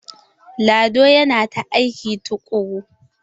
Lado yana ta aiki tukuru.